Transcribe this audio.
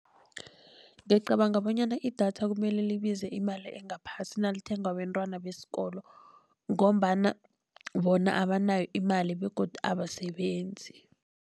Ngicabanga bonyana idatha kumele libize imali engaphasi nalithengwa bentwana besikolo, ngombana bona abanayo imali begodu abasebenzi.